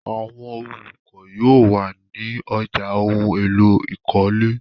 Àwọn olùkọ́ yóò wà ní ọjà ohun-èlò ìkọ́lé.